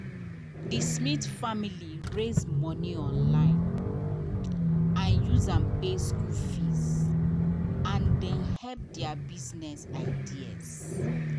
the smith family raise money online and use am pay school fees and dem help their business ideas.